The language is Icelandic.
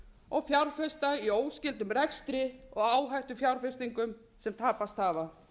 og fjárfesta í óskyldum rekstri og áhættufjárfestingum sem tapast hafa